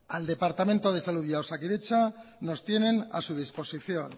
al departamento de salud y a osakidetza nos tienen a su disposición